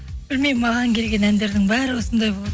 білмеймін маған келген әндердің бәрі осындай болды